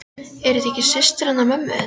Er þetta ekki systir hennar mömmu þinnar?